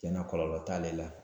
Tiɲɛ na kɔlɔlɔ t'ale la.